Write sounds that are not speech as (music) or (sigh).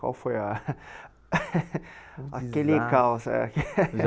Qual foi a (laughs) aquele caos é? (unintelligible) (laughs)